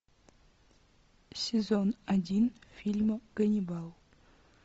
сезон один фильма ганнибал